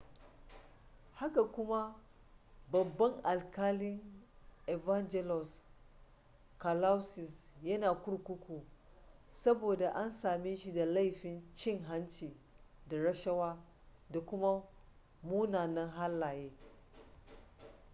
haka kuma babban alkalin evangelos kalousis yana kurkuku saboda an same shi da laifin cin hanci da rashawa da kuma munanan halaye